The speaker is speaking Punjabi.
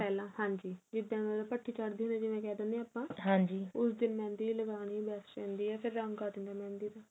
ਪਹਿਲਾਂ ਹਾਂਜੀ ਜਿੱਦਾ ਮਤਲਬ ਭੱਠੀ ਚੜਦੇ ਹੁੰਦੇ ਜਿਵੇਂ ਕਹਿ ਦਿਨੇ ਹੁਣੇ ਆ ਆਪਾਂ ਉਸ ਦਿਨ mehendi ਲੱਗਾਣੀ best ਰਹਿੰਦੀ ਏ ਫ਼ਿਰ ਰੰਗ ਆ ਜਾਂਦਾ mehendi ਦਾ